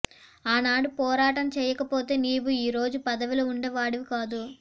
ఆనాడు పోరాటం చేయకపోతే నీవు ఈ రోజు పదవిలో ఉండే వాడివి కాదు